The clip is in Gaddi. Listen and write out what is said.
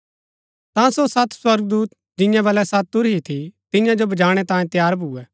ता सो सत स्वर्गदूत जियां बलै सत तुरही थी तियां जो बजाणै तांयें तैयार भूए